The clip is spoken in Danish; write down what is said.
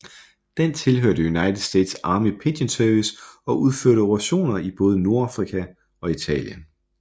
Den tilhørte United States Army Pigeon Service og udførte operationer i både Nordafrika og Italien